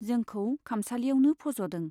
जोंखौ खामसालियावनो फज'दों।